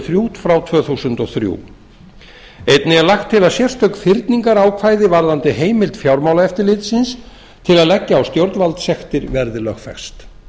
þrjú tvö þúsund og þrjú þá er lagt til að sérstök fyrningarákvæði varðandi heimild fjármálaeftirlitsins til að leggja á stjórnvaldssektir verði lögfest